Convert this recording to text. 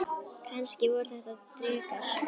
Kannski voru þetta drekar?